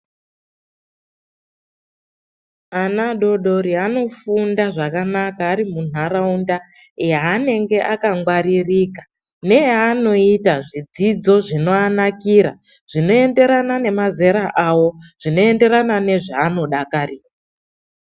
Ana adodori anofunda zvakanaka ari munharaunda yaanenge akangwaririka neyaanoita zvidzidzo zvinoanakira zvinoenderana nemazera awo zvinoenderana nezvaanodakarira.